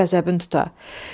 Mənə qəzəbin tuta.